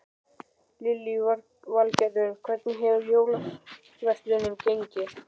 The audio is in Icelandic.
Lillý Valgerður: Hvernig hefur jólaverslunin gengið?